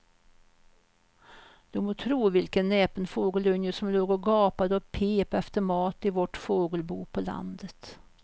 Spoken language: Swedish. Du må tro vilken näpen fågelunge som låg och gapade och pep efter mat i vårt fågelbo på landet.